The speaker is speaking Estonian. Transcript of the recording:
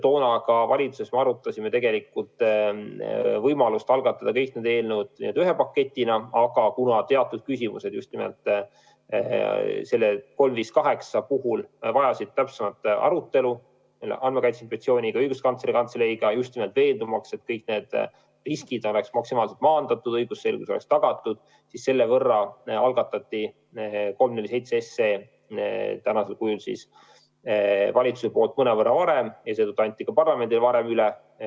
Toona me valitsuses arutasime tegelikult ka võimalust algatada kõik need muudatused ühe paketina, aga kuna teatud küsimused just nimelt selle 358 puhul vajasid täpsemat arutelu Andmekaitse Inspektsiooni ja Õiguskantsleri Kantseleiga, just nimelt veendumaks, et kõik need riskid oleksid maksimaalselt maandatud, et õigusselgus oleks tagatud, siis algatati 347 SE praegusel kujul mõnevõrra varem ja anti ka parlamendile varem üle.